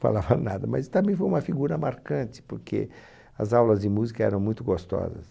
Falava nada, mas também foi uma figura marcante, porque as aulas de música eram muito gostosas.